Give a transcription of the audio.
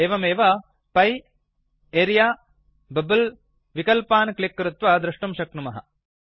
एवमेव पिए ल्ट्पाउसेग्ट अरेऽ ल्ट्पाउसेग्ट बबल ल्ट्पाउसेग्ट विकल्पान् क्लिक् कृत्वा द्रष्टुं शक्नुमः